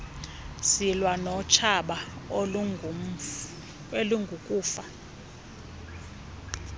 silwa notshaba olungukufa